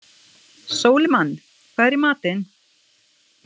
Sólimann, hvað er í matinn?